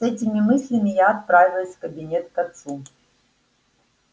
с этими мыслями я отправилась в кабинет к отцу